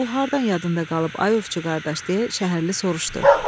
Bu hardan yadında qalıb ay ovçu qardaş, deyə şəhərli soruşdu.